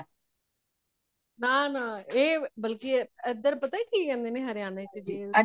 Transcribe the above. ਨਾ ਨਾ ਏ ਬਲਕੀ ਏ ਏਧਰ ਪਤਾ ਕੀ ਕੇਂਦੇ ਨੇ ਹਰਿਆਣਾ ਜੀ